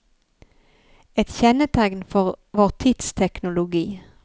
Et kjennetegn for vår tids teknologi.